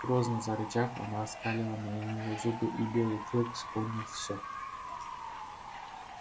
грозно зарычав она оскалила на него зубы и белый клык вспомнил всё